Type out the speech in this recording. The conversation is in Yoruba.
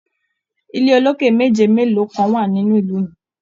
ilé oloke meji melo kan wa nínú ìlú mí.